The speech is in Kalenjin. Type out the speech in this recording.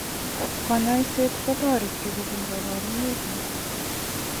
Kanyaishet kotareti kobun kabaruneik kuk.